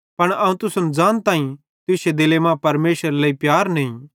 पन अवं तुसन ज़ानताईं तुश्शे दिले मां परमेशरेरे लेइ प्यार नईं